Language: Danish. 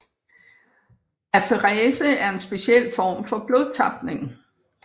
Aferese er en speciel form for blodtapning